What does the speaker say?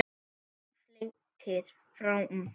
Björn flettir áfram.